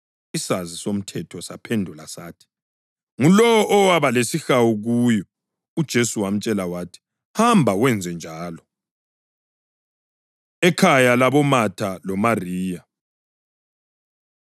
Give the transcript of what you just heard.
Isazi somthetho saphendula sathi, “Ngulowo owaba lesihawu kuyo.” UJesu wamtshela wathi, “Hamba wenzenjalo.” Ekhaya LaboMatha LoMariya